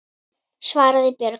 svaraði Björg.